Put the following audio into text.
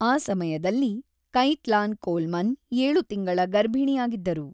ಆ ಸಮಯದಲ್ಲಿ Caitlin Coleman ಏಳು ತಿಂಗಳ ಗರ್ಭಿಣಿಯಾಗಿದ್ದರು.